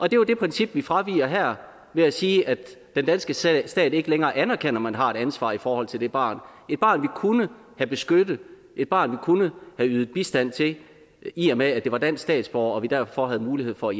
jo det princip vi fraviger her ved at sige at den danske stat stat ikke længere anerkender at man har et ansvar i forhold til det barn et barn vi kunne have beskyttet et barn vi kunne have ydet bistand til i og med at det var dansk statsborger og vi derfor havde mulighed for